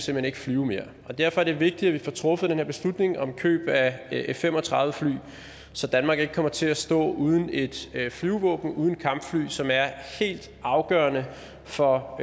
hen ikke flyve mere derfor er det vigtigt at vi får truffet den her beslutning om køb af f fem og tredive fly så danmark ikke kommer til at stå uden et flyvevåben uden kampfly som er helt afgørende for